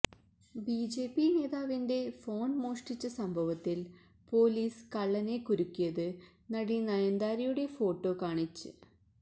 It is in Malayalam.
ബിജെപി നേതാവിന്റെ ഫോണ് മോഷ്ടിച്ച സംഭവത്തില് പൊലീസ് കള്ളനെ കുരുക്കിയത് നടി നയന്താരയുടെ ഫോട്ടോ കാണിച്ച്